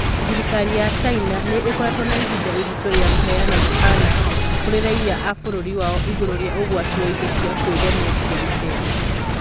Thirikari ya China nĩ ĩkoretwo na ihinda iritũ rĩa kũheana mũkaana kũrĩ raiya a bũrũri wao igũrũ rĩa ũgwati wa indo cia kwĩgemia cia maheeni.